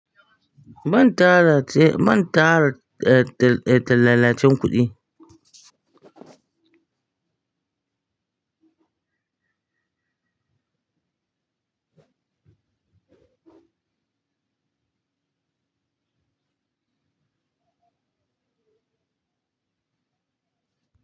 Ban tara ce, ban tara eh tallalacen kuɗi.